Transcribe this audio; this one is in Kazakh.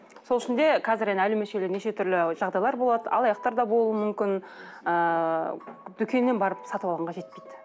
сол үшін де қазір енді неше түрлі жағдайлар болады алаяқтар да болуы мүмкін ыыы дүкеннен барып салып алғанға жетпейді